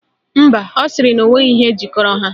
Mba, ọ sịrị na onweghi ihe jikọrọ ha